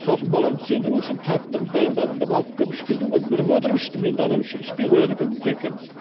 сосын баламды сендіру үшін тәтті қылып дайындадым деп алып келіп ішкіздім ғой бірге отырып іштім енді анау ішпей қояды екен деп жиркеніп